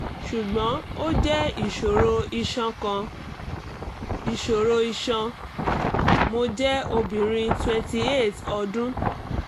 ṣugbọn o jẹ iṣoro iṣan kan?iṣoro iṣan?mo jẹ obirin twenty eight ọdun